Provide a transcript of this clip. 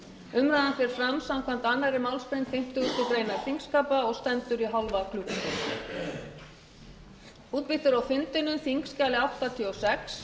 umræðan fer fram samkvæmt annarri málsgrein fimmtugustu grein þingskapa og stendur í hálfa klukkustund